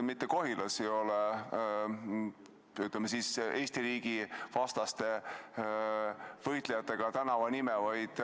Mitte Kohilas ei ole, ütleme, Eesti riigi vastaste võitlejate nimega tänavat, vaid